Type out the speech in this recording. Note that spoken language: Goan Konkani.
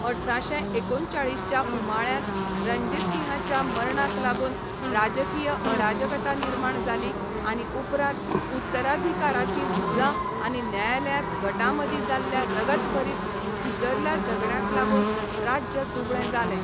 अठराशें एकोणचाळीस च्या उमाळ्यांत रंजीतसिंहाच्या मरणाक लागून राजकीय अराजकता निर्माण जाली आनी उपरांत उत्तराधिकाराचीं झुजां आनी न्यायालयांत गटांमदीं जाल्ल्या रगतभरीत भितरल्या झगड्यांक लागून राज्य दुबळें जालें.